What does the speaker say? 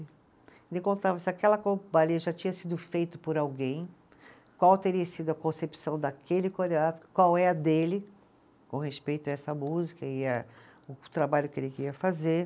Ele contava se aquela já tinha sido feito por alguém, qual teria sido a concepção daquele coreógrafo, qual é a dele com respeito a essa música e a, o trabalho que ele queria fazer.